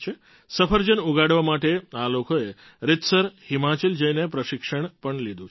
સફરજન ઉગાડવા માટે આ લોકોએ રીતસર હિમાચલ જઈને પ્રશિક્ષણ પણ લીધું છે